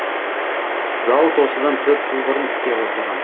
зауыт осыдан төрт жыл бұрын іске қосылған